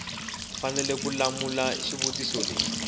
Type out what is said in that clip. fanele ku hlamula xivutiso xin